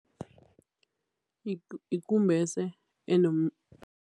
Yikumbese